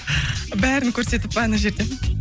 бәрін көрсетіп па ана жерде